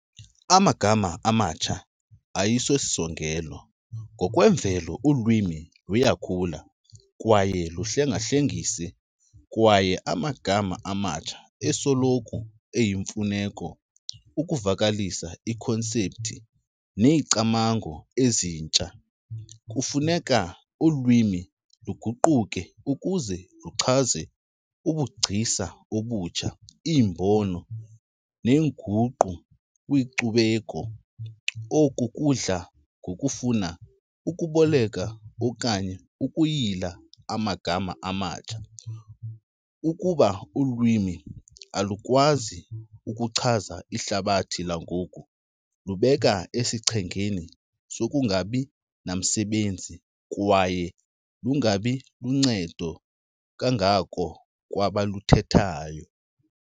Amagama amatsha ayisosisongel. Ngokwemvelo ulwimi luyakhula kwaye luhlengahlengise kwaye amagama amatsha esoloko eyimfuneko ukuvakalisa iikhonsepthi neeyicamango ezintsha. Kufuneka ulwimi luguquke ukuze luchaze ubugcisa obutsha, iimbono, neenguqu kwinkcubeko. Oku kudla ngokufuna ukuboleka okanye ukuyila amagama amatsha. Ukuba ulwimi alukwazi ukuchaza ihlabathi langoku lubeka esichengeni sokungabi namsebenzi kwaye lungabi luncedo kangako kwabaluthethayo.